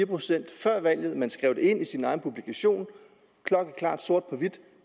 procent før valget og man skrev det ind i sin egen publikation klokkeklart sort på hvidt